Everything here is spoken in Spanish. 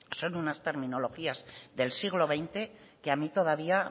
son unas terminologías del siglo veinte que a mí todavía